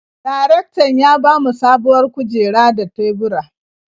Darektan ya ba mu sabuwar kujeru da tebura.